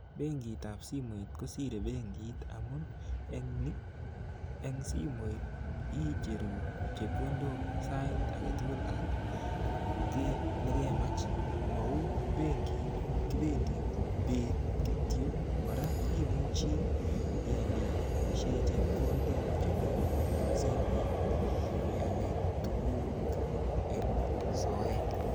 Benkitap simoit kosire benkit amun eng ni, eng simoit icheruu chepkondok sait age tugul ak ki nekemach. Ma uu benkit, kipendi beet kityo. Kora imuchi ialishe chepkondok chemi simet iale tuguk eng soeet.